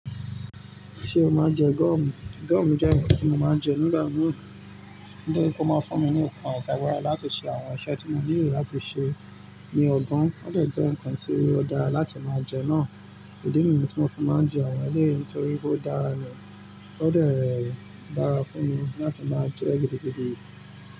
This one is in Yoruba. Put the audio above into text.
Ṣé o máa ń jẹ gọ́ọ̀mù? Gọ́ọ̀mù jẹ́ ǹkan tí mo máa ń jẹ nígbà mìíràn, nítori pe ó máa ń fún mi ní okùn àti agbára láti ṣe àwọn iṣẹ́ tí mò nílò láti ṣe ní ọgbọ́n. Ó de jẹ́ ǹkan tí ó dára láti máa jẹ náà. Idí niyi tí mo fi máa ń jẹ àwọn ẹlẹ́yi nitorí pe ó dára ni. Ó de dára fún mi láti máa jẹ́ gidigidi.